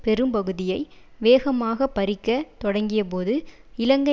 பெரும்பகுதியை வேகமாக பறிக்கத் தொடங்கியபோது இலங்கை